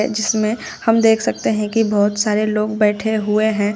जिसमें हम देख सकते हैं कि बहोत सारे लोग बैठे हुए हैं।